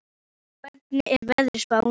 Úranía, hvernig er veðurspáin?